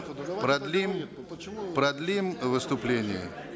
продлим продлим выступление